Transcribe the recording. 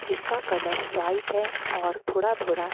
किसका colour white है और थोड़ा थोड़ा--